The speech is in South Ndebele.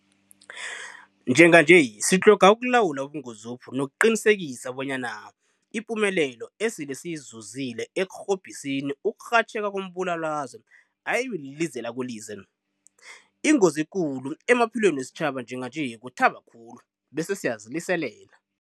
Njenganje sitlhoga ukulawula ubungozobu nokuqinisekisa bonyana ipumelelo esele siyizuzile ekurhobhiseni ukurhatjheka kombulalazwe ayibi lilize lakolize. Ingozi ekulu emaphilweni wesitjhaba njenganje kuthaba khulu bese siyaziliselela.